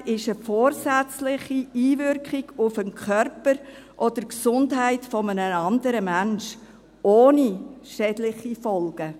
Eine Tätlichkeit ist eine vorsätzliche Einwirkung auf Körper oder Gesundheit eines anderen Menschen ohne schädliche Folgen.